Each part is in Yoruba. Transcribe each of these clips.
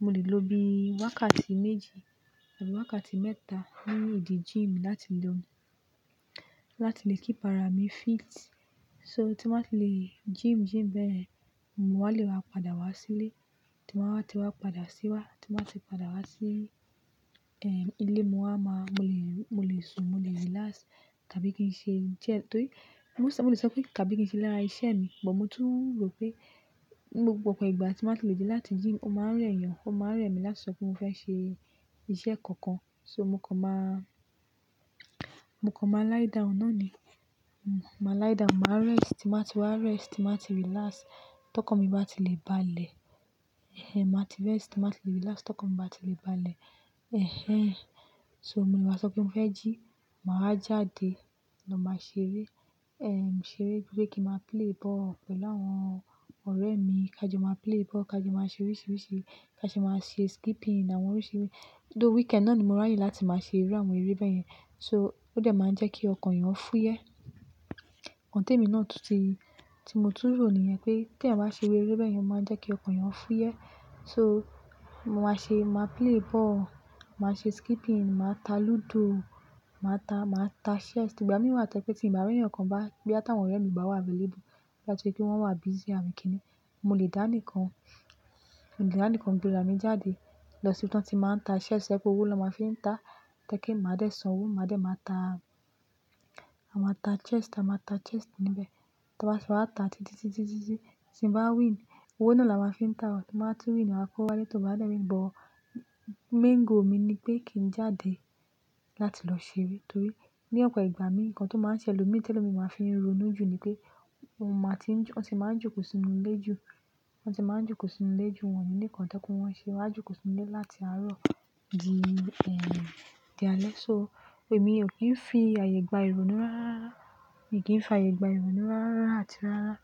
Mo lè ló bí wákàtí méjì àbí wákàtí mẹ́ta nínú idi gym láti lọ, láti lè kí ara mi fit. So tí màá ti lè gym bẹ́ẹ̀ yẹn, mo wà lè wa padà wá sílé. Tí màá ti wá padà sí wá, tí màá ti padà wá sí ilé, mo lè sùn, mo lè relax tàbí kí n ṣe ń jẹ. Mo lè sọ pé tàbí kí n ṣe lára iṣẹ́ mi, mo tún rò pé gbogbo ọ̀pọ̀ ìgbà tí màá ti lè dé láti gym, ó máa ń rẹ̀ ẹ́ yàn, ó máa ń rẹ̀ mí láti sọ pé mo fẹ́ ṣe iṣẹ́ kankan. So mo kàn máa lie down náà ni. Mo máa lie down, màá rest, tí màá ti wa rest, tí màá ti relax, tọkàn mi bá ti lè bá lẹ̀. Ẹ̀hẹn, tí màá ti rest, tí màá ti relax, tọkàn mi bá ti lè bá lẹ̀. Ẹ̀hẹn, so mo lè wá sọ pé mo fẹ́ jí, màá jáde, lọ máa ṣeré. Ẹ̀hẹn, ṣeré bíi pé kí n máa play ball pẹ̀lú àwọn ọ̀rẹ́ mi, kí a jọ máa play ball, kí a jọ máa ṣe oríṣiríṣi, kí a ṣe máa ṣe skipping àwọn oríṣi eré. Tó weekend náà ni mo rànyẹ́ láti máa ṣe rí àwọn eré bẹ́ẹ̀ yẹn. So ó dà máa ń jẹ́ kí ọkàn èèyàn fúyẹ́. Òǹtẹ̀ mi náà tó ti, tí mo tún rò níyẹn pé tí èmi bá ṣe eré bẹ́ẹ̀ yẹn ó máa ń jẹ́ kí ọkàn èèyàn fúyẹ́. So màá ṣe, ma play ball, màá ṣe skipping, màá ta lúdò, màá ta chess. Tí ìgbà mìí wà tẹ́kọ́ tí ìbà ra ẹ̀yán kan bá boya ta wọn ọ̀rẹ́ mi obà wá avelebu, bá tori pé wọ́n wà busy, àbí kí ni, mo lè dá nìkan. Mo lè dá nìkan gbéra mi jáde lọ sí ibi tí wọ́n ti máa ń ta chess, to je pe owó ni wọ́n máa fi ń ta. Tẹ́kìn máa dẹ̀ san owó, máa dẹ̀ máa ta chess níbẹ̀. Tí wọ́n bá tin wá, ta títí, títí, títí tí n bá win. Owó náà là wọ́n fi ń ta, tí màá ti win, màá kówo wálé, tó bá dẹ́ mi. Ìbò main goal mi ni pé kí n jáde láti lọ ṣeré torí ní ọ̀pọ̀ ìgbà mi, nǹkan tó máa ń ṣe lòmi, tí ẹlòmíràn máa fi ń ronú jù ni pé wọ́n ti máa ń jókòó sínú ilé jù. Wọ́n ti máa ń jókòó sínú ilé jù wọ́n ní nǹkan tó kó wọ́n ṣe wá jókòó sínú ilé láti àárọ̀ di alẹ́. So èmi ò kí ń fi àyè gba ìrònú rárá. Èmi ò kí ń fi àyè gba ìrònú rárá àti rárá.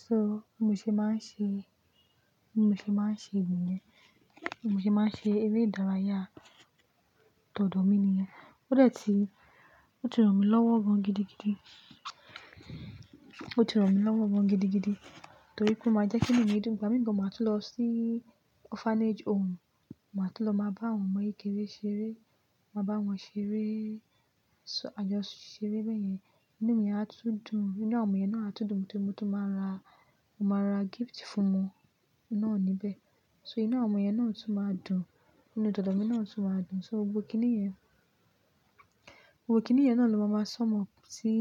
Ṣé mo ṣe máa ń ṣe niyen. Mo ṣe máa ń ṣe eré ìdárayá tòdò mi nìyẹn. Ó de ti, oti ran mí lọ́wọ́ gan gidigidi. Oti ran mi lowo gan gidi gidi. Torí pé o máa jẹ́ kí inu mi dun ìgbà mìí gan máa tun lọ sí orphanage home, máa tó lọ máa bá àwọn ọmọ kékeré ṣeré, máa bá wọn ṣeré. So àjọṣeré bẹ́ẹ̀ yẹn ínú mi á tún dùn. Inú àwọn ọmọ yẹn náà á tún dùn, mo tún máa ra gift fún wọn náà níbẹ̀. So inú àwọn ọmọ yẹn náà tún máa dùn. Inú tòdò mi náà tún máa dùn. So gbogbo kiní yẹn náà ló máa máa sọmọ sí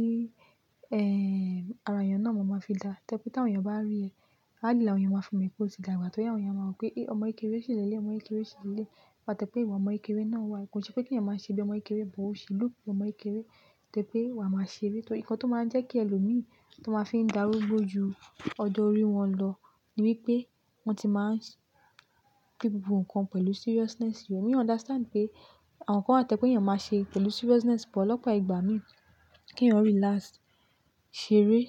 ara èèyàn náà máa fi dá. Tẹ́kún tí àwọn èèyàn bá rí i, á làyà, àwọn èèyàn máa fòmi pé ó ti dàgbà. Torí ẹ, àwọn èèyàn máa wí pé, "É, ọmọ kékeré ṣì lẹ́lẹ̀, ọmọ kékeré ṣì lẹ́lẹ̀." Wàá tẹ́ pé ìwà ọmọ kékeré náà wà. Kò ṣe pé kí ẹ̀yàn máa ṣe bí ọmọ kékeré, bí ó ṣe lù ú bí ọmọ kékeré tẹ́ pé wà máa ṣe eré. Torí nǹkan tó máa ń jẹ́ kí ẹlòmíràn tó máa fi ń dàrúgbó ju ọjọ́ orí wọn lọ ni wípé wọ́n ti máa ń fi gbogbo nǹkan pẹ̀lú seriousness. Èmi ó understand pé àwọn kan á tẹ́kún kí ẹ̀yàn máa ṣe pẹ̀lú seriousness, ṣùgbọ́n lọ́pọ̀ ìgbà mi kí èèyàn relax, ṣeré,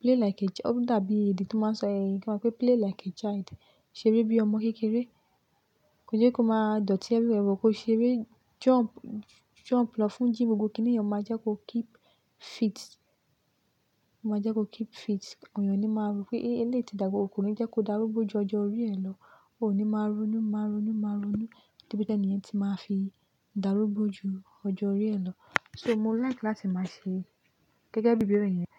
play like a child. Ó dàbí èdè tó máa ń sọ ẹ̀yí kan pé play like a child. Ṣeré bí ọmọ kékeré. Kò jẹ́ kó máa dòtí ẹbí rẹ, mo kó ṣeré, jump lọ fún gym, gbogbo kiní yẹn ó máa jẹ́ kó keep fit. Òyàn ni máa rò pé eléèti dàgbà, òkunrin jẹ́ kó dàrúgbó ju ọjọ́ orí ẹ lọ. Ó ní máa ronú, máa ronú, máa ronú. Tí ó bá tẹ́lẹ̀ ni ẹ̀yẹn tí máa fi dàrúgbó ju ọjọ́ orí ẹ lọ. So mo like láti máa ṣe gẹ́gẹ́ bí bẹ́ẹ̀ rí yẹn.